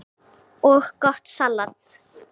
og gott salat.